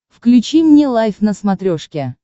включи мне лайф на смотрешке